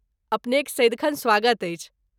अपनेक सदिखन स्वागत अछि।